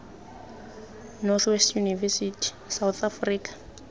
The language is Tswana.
north west university south africa